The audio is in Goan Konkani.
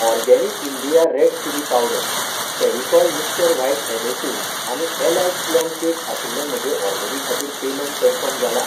Organic India red chilli powder, Fevicol mister white adhesive आनी ऍलायट प्लम कॅक आशिल्ले म्हजे ऑर्डरी खातीर पेमेंट कन्फर्म जाला ?